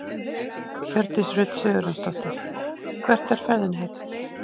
Hjördís Rut Sigurjónsdóttir: Hvert er ferðinni heitið?